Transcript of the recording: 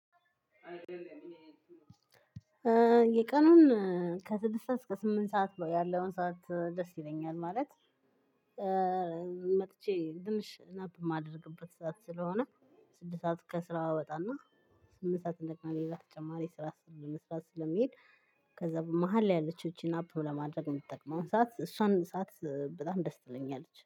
የቀኑን ከስድስት ሰዓት እስከ ስምንት ሰዓት ነው ያለውን ሰዓት ደስ ይለኛል። ማለት መጥቼ ትንሽ ናፕ የማደርግበት ሰዓት ስለሆነ። ስድስት ሰዓት ከስራ ወጣና ስምንት ሰዓት እንደገና ሌላ ተጨማሪ ስራ ለመስራት ስለምሄድ። ክዛ በ መሃል ላይ ያለቸው እቺ ናፕ ለማድረግ የምትጠቅመውን ሰዓት እሷን ሰዓት በጣም ደስ ትለኛለች።